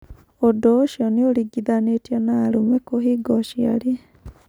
Ũndu ũcio ni ũringithanĩtio na arũme kũhinga ũciari.